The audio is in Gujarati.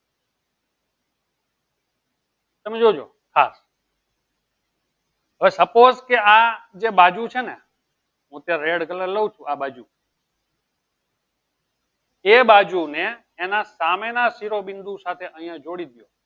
તમે જોજો ખાસ હવે suppose કે આ જે બાજુ છેને હું ત્યાં red colour લઉં છું આ બાજુ કે એબાજુને એના સામેના શિરોબિંદુ સાથે અહીંયા જોડીદયો.